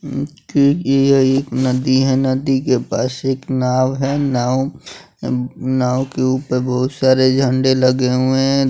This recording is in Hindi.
उम्म कि यह एक नदी हैं नदी के पास एक नाव हैं नाव अम नाव के ऊपर बहुत सारे झंडे लगे हुए हैं।